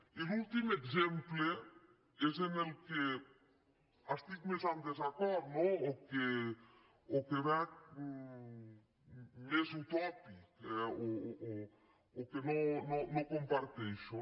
i l’últim exemple és amb el que estic més en desacord no o que veig més utòpic o que no comparteixo